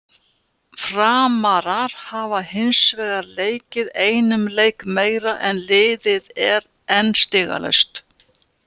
Framarar hafa hinsvegar leikið einum leik meira en liðið er enn stigalaust.